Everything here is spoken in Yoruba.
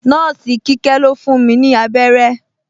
Nọ́ọ̀sì Kíkẹ́ ló fún mi abẹ́rẹ́